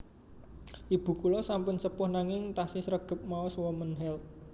Ibu kula sampun sepuh nanging tasih sregep maos Womens Health